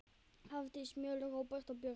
Hafdís Mjöll, Róbert og börn.